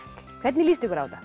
hvernig líst ykkur á þetta